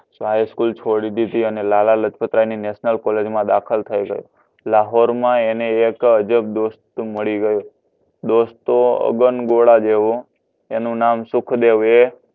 હાય school છોડી દીધી અને લાલાલાજપતરાયની નેશનલ કોલેજમાં દાખલ થઈ ગયો. લાહોરમાં એને એક અજબ દોસ્ત મળી ગયો. દોસ્ત તો અગનગોળા જેવો એનું નામ સુખદેવ એ